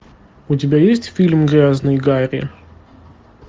у тебя есть фильм грязный гарри